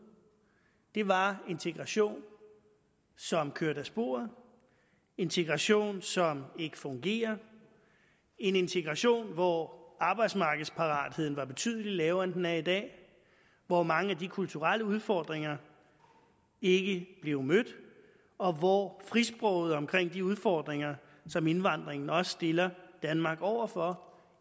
det var integration som kørte af sporet integration som ikke fungerede en integration hvor arbejdsmarkedsparatheden var betydelig lavere end den er i dag hvor mange af de kulturelle udfordringer ikke blev mødt og hvor frisproget omkring de udfordringer som indvandringen også stiller danmark overfor